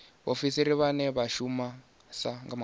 vhaofisiri vhane vha shumisa maanda